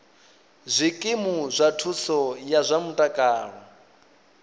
zwikimu zwa thuso ya zwa mutakalo